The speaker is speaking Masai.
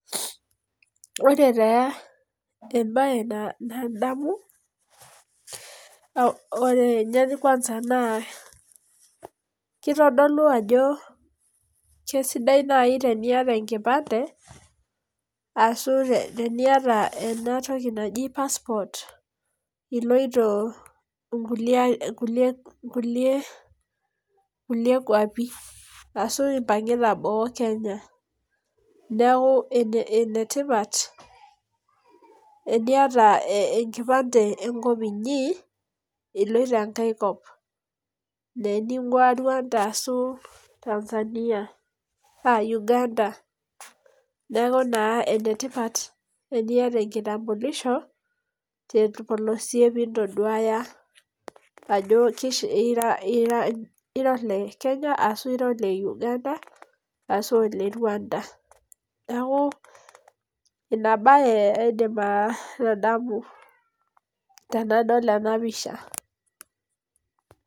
Ore taa ebae nadamu .ore ninye kwanza naa kitodolu ajo kesidai naaji teniata enkipande, ashu teniata naji passport iloito irkulie kuapi. ashu impangita boo Kenya. neeku ene tipat enkata enkipande enkop inyi iloito enkae kop. niningua Rwanda ashu tanzania.aa Uganda. neeku naa ene tipat tenkata enkitampulisho. torpolosie pee intoduaya ajo ira ele Kenya ashu ene Uganda ashu ene rwanda. neeku Ina bae aidim atadamu tenadol ena pisha.